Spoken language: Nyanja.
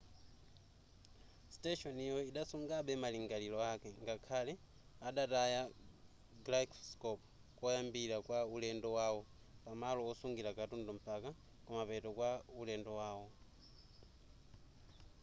siteshoniyo idasungabe malingaliro ake ngakhale adataya gyroscope koyambirira kwa ulendo wawo pamalo osungira katundu mpaka kumapeto kwa ulendo wawo